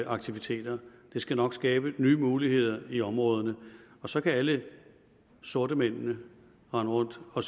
aktiviteter det skal nok skabe nye muligheder i områderne så kan alle sortemændene rende rundt og